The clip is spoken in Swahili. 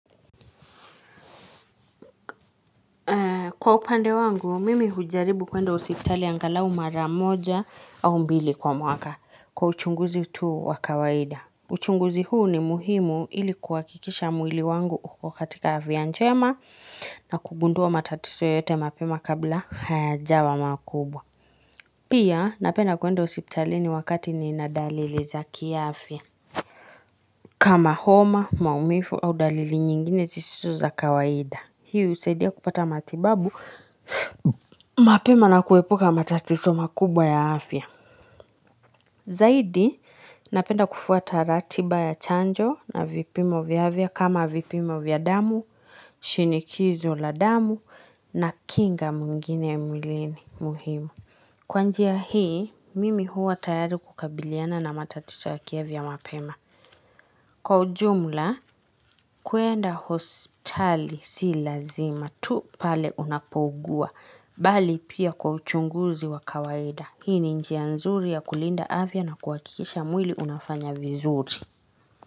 Kwa upande wangu, mimi hujaribu kuenda hosiptali angalau maramoja au mbili kwa mwaka kwa uchunguzi tu wa kawaida. Uchunguzi huu ni muhimu ili kuhakikisha mwili wangu uko katika afya njema na kugundua matatizo yoyote mapema kabla hayajawa makubwa. Pia napenda kuenda hosipitali ni wakati ninadalili za kiafya. Kama homa, maumivu au dalili nyingine zisizo za kawaida. Hii husaidia kupata matibabu, mapema na kuepuka matatizo makubwa ya afya. Zaidi, napenda kufuata ratiba ya chanjo na vipimo vya afya kama vipimo vya damu, shinikizo la damu na kinga mwingine ya mwilini muhimu. Kwa njia hii, mimi huwa tayari kukabiliana na matatizo ya kiafya mapema. Kwa ujumla, kuenda hosipitali si lazima, tu pale unapougua, bali pia kwa uchunguzi wa kawaida. Hii ni njia nzuri ya kulinda afya na kuhakikisha mwili unafanya vizuri.